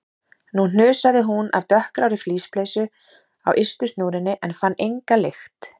Nú hnusaði hún af dökkgrárri flíspeysu á ystu snúrunni en fann enga lykt.